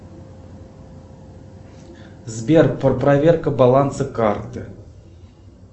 сбер проверка баланса карты